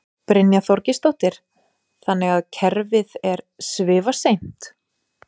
Brynja Þorgeirsdóttir: Þannig að kerfið er svifaseint?